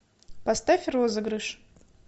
поставь розыгрыш